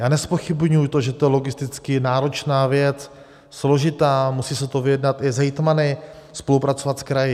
Já nezpochybňuji to, že to je logisticky náročná věc, složitá, musí se to vyjednat i s hejtmany, spolupracovat s kraji.